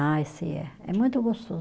Ah, esse é. É muito gostoso.